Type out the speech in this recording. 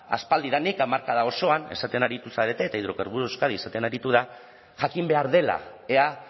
aspaldidanik hamarkada osoan esaten aritu zarete eta hidrocarburos de euskadi esaten aritu da jakin behar dela ea